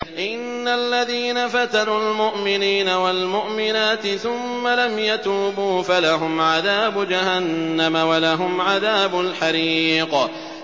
إِنَّ الَّذِينَ فَتَنُوا الْمُؤْمِنِينَ وَالْمُؤْمِنَاتِ ثُمَّ لَمْ يَتُوبُوا فَلَهُمْ عَذَابُ جَهَنَّمَ وَلَهُمْ عَذَابُ الْحَرِيقِ